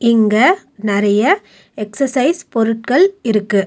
இங்க நெறைய எக்சசைஸ் பொருட்கள் இருக்கு.